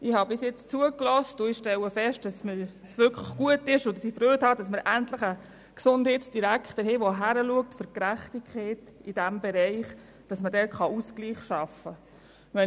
Ich habe bis jetzt zugehört und stelle fest, dass es wirklich gut ist und ich Freude habe, dass wir endlich einen Gesundheitsdirektor haben, der hinsieht und für Gerechtigkeit in diesem Bereich ist, sodass man dort einen Ausgleich schaffen kann.